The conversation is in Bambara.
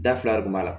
Da fila de b'a la